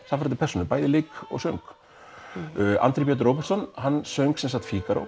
sannfærandi persónu bæði í leik og söng Andri Björn Róbertsson söng